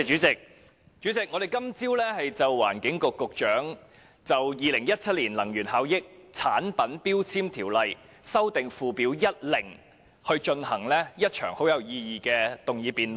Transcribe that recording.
主席，我們今天早上就環境局局長提出的《2017年能源效益條例令》進行了一場很有意義的辯論。